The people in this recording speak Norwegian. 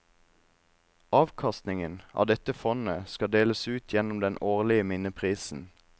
Avkastningen av dette fondet skal deles ut gjennom den årlige minneprisen.